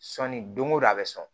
Sɔnni don o don a bɛ sɔn